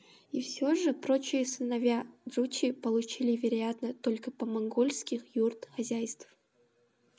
все же прочие сыновья джучи получили вероятно только по монгольских юрт хозяйств